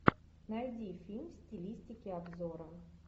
найди фильм в стилистике обзора